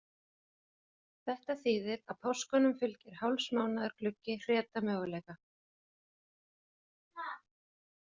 Þetta þýðir að páskunum fylgir hálfs mánaðar gluggi hretamöguleika.